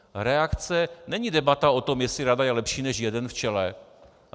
Reakce není debata o tom, jestli rada je lepší než jeden v čele.